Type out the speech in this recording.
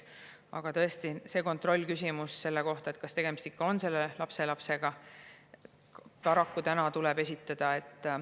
Aga tõesti, mingi kontrollküsimus selleks,, kas tegemist ikka on lapselapsega, paraku tuleb esitada.